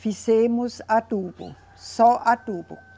Fizemos adubo, só adubo.